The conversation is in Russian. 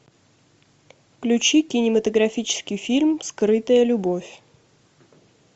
включи кинематографический фильм скрытая любовь